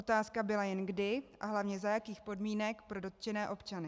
Otázka byla jen kdy a hlavně za jakých podmínek pro dotčené občany.